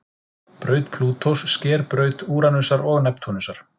Braut Plútós sker braut Úranusar og Neptúnusar.